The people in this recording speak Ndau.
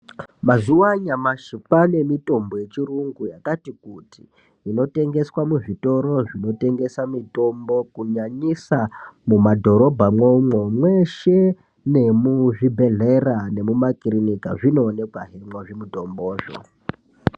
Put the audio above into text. Mazuva anyamashi kwane mitombo yechirungu yakati kuti inotengeswa muzvitoro zvinotengesa mitombo kunyanyisa mumadhorobha umwomwo mweshe nemuzvibhedhlera nemumakiriniki zvinooneka zvemwo zvimutombo zvo.